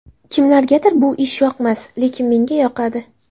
Kimlargadir bu ish yoqmas, lekin menga yoqadi.